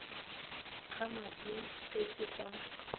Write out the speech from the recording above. ga madi se se ka